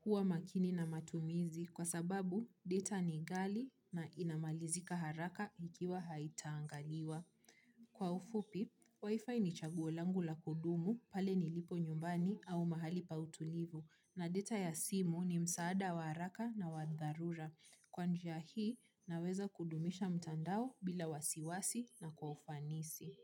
kuwa makini na matumizi kwa sababu data ni ghali na inamalizika haraka ikiwa haita angaliwa. Kwa ufupi, wifi ni chaguo langu la kudumu pale nilipo nyumbani au mahali pa utulivu na data ya simu ni msaada wa haraka na wa dharura. Kwa njia hii naweza kudumisha mtandao bila wasiwasi na kwa ufanisi.